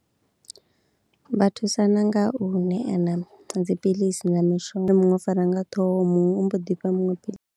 Vha thusana nga u ṋeana dziphiḽisi na mishonga muṅwe u fariwa nga ṱhoho muṅwe u mbo ḓi fha muṅwe phili.